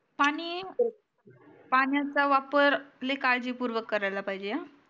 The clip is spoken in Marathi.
पानी पाण्याचा वापर लय काळजी पूर्वक करायला पाहिजे हा